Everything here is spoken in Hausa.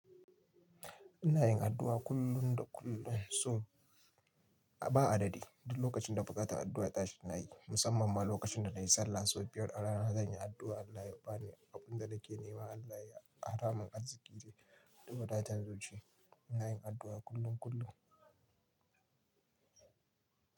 Ina yin addu'a kullum da kullum, so ba a dadi Duk lokacin da buƙatar addu'a ta tashi ina yi, musamman ma lokacin da na yi sallah sau biyar a rana. Zan yi addu'a Allah ya ba ni abin da nake nema. Ina yin addu'a kullum da kullum, so ba a dadi.